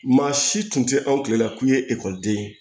Maa si tun tɛ anw tile la k'u ye ekɔliden ye